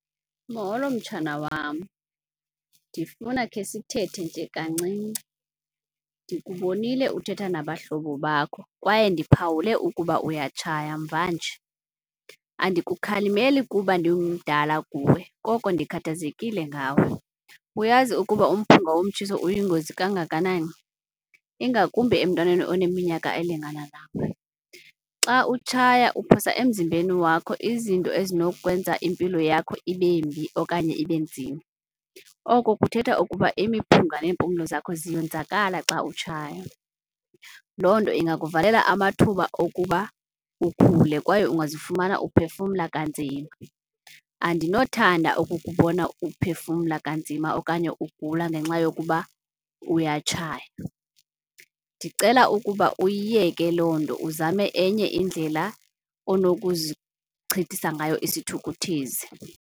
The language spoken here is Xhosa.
Molo mtshana wam, ndifuna khe sithethe nje kancinci. Ndikubonile uthetha nabahlobo bakho kwaye ndiphawule ukuba uyatshaya mvanje. Andikukhalimeli kuba ndimdala kuwe koko ndikhathazekile ngawe. Uyazi ukuba umphunga womtshiso uyingozi kangakanani, ingakumbi emntwaneni oneminyaka elingana nawe? Xa utshaya uphosa emzimbeni wakho izinto ezinokwenza impilo yakho ibembi okanye ibe nzima, oko kuthetha ukuba imiphunga neempumlo zakho ziyonzakala xa utshaya. Loo nto ingakuvalela amathuba okuba ukhule kwaye ungazifumana uphefumla kanzima. Andinothanda ukukubona uphefumla kanzima okanye ugula ngenxa yokuba uyatshaya. Ndicela ukuba uyiyeke loo nto uzame enye indlela onokuzichithisa ngayo isithukuthezi.